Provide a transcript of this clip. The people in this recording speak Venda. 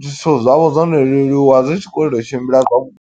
zwithu zwa vho zwono leluwa, zwi tshi khou lwela u tshimbila zwa vhuḓi.